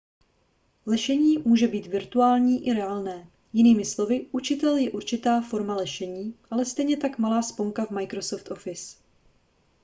lešení může být virtuální i reálné jinými slovy učitel je určitá forma lešení ale stejně tak malá sponka v microsoft office